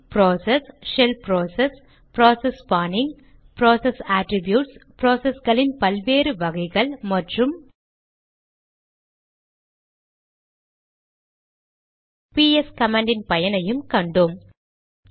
இதில் process shell process process spawning process attributes ப்ராசஸ்களின் பல் வேறு வகைகள் மற்றும் பிஎஸ் கமாண்ட் இன் பயனையும் கண்டோம்